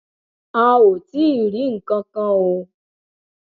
a ò tí ì rí nǹkan kan o